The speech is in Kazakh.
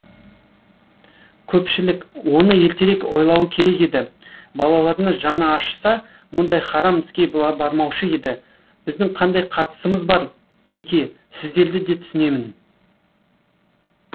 көпшілік оны ертерек ойлауы керек еді балаларына жаны ашыса мұндай харам іске бармаушы еді біздің қандай қатысымыз бар теке сіздерді де түсінемін